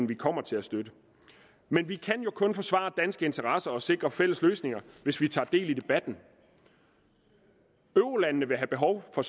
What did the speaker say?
vi kommer til at støtte men vi kan jo kun forsvare danske interesser og sikre fælles løsninger hvis vi tager del i debatten eurolandene vil have behov for